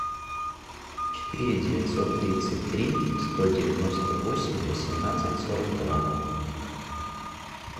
четыре девятьсот тридцать три сто девяносто восемь восемнадцать сорок два